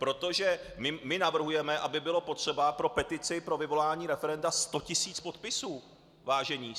Protože my navrhujeme, aby bylo potřeba pro petici pro vyvolání referenda 100 tisíc podpisů, vážení.